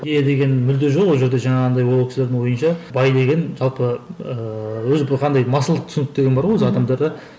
иә деген мүлде жоқ ол жерде жаңағындай ол кісілердің ойынша бай деген жалпы ыыы өзі бір қандай масылдық түсінік деген бар ғой өзі адамдарда